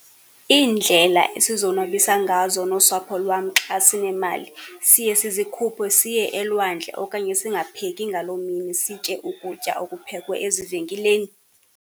Iindlela esizonwabisa ngazo nosapho lwam xa sinemali, siye sizikhuphe siye elwandle okanye singapheki ngaloo mini, sitye ukutya okuphekwe ezivenkileni